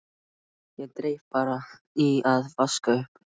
Ég dreif bara í að vaska upp.